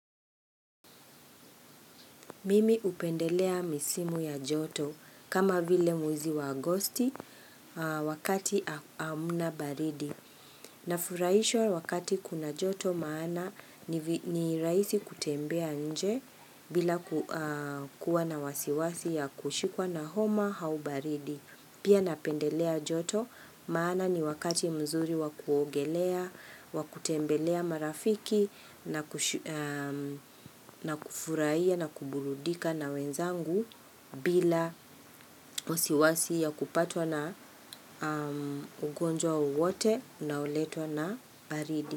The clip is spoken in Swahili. Mimi upendelea misimu ya joto kama vile mwezi wa agosti wakati amuna baridi. Nafuraishwa wakati kuna joto maana ni raisi kutembea nje bila kuwa na wasiwasi ya kushikwa na homa hau baridi. Pia napendelea joto maana ni wakati mzuri wa kuogelea, wa kutembelea marafiki na kufurahia na kuburudika na wenzangu bila wasiwasi ya kupatwa na ugonjwa wowote unaoletwa na baridi.